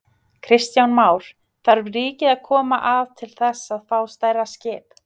Kristján Már: Þarf ríkið að koma að til þess að fá stærra skip?